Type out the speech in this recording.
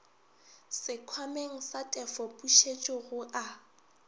sekhwameng sa tefopušetšo go a